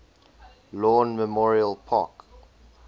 lawn memorial park